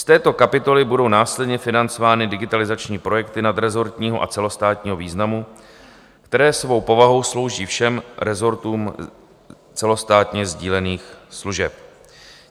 Z této kapitoly budou následně financovány digitalizační projekty nadrezortního a celostátního významu, které svou povahou slouží všem rezortům celostátně sdílených služeb.